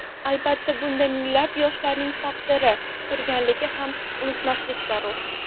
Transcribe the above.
Albatta bunda, minglab yoshlarning taqdiri turganligini ham unutmaslik zarur.